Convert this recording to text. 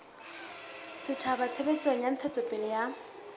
setjhaba tshebetsong ya ntshetsopele ya